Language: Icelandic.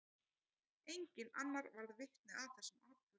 Enginn annar varð vitni að þessum atburði.